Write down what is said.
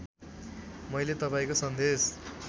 मैले तपाईँको सन्देश